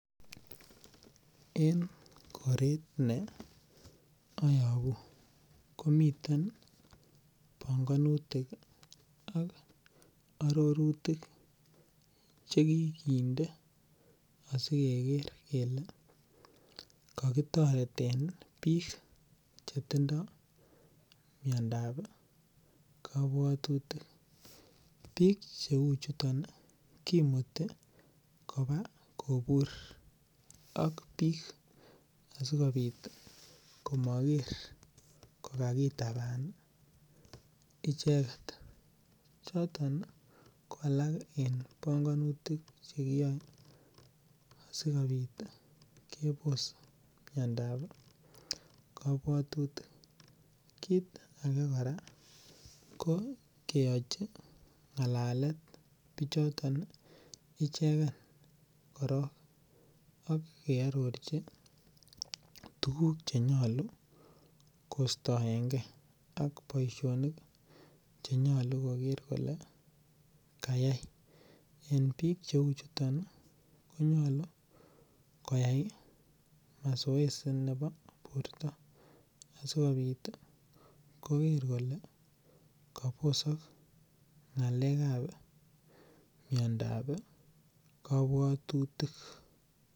En koret ne ayabu komiten banganutik ak aroritik che kikinde asikeger kele kakitoreten biik chetindo miondab kabwatutik. Biik cheuchuton kimuti koba kobur ak biik asikopit komager kokakotaban icheget. Choton ko alak en banganutik che kiyoe asikopit kebos miandap kabwatutik. Kit age kora ko keyochi ngalalet bichoton ichegen korok ak kearorchi tuguk chenyalu koistoeng ak boisionik che nyalu koker kole kayai. En biik cheu chuton konyalu koyai masoesi nebo borto asigopit koger kole kabosok ngalekab miandab kabwatutik.